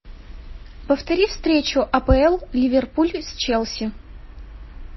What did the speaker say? повтори встречу апл ливерпуль с челси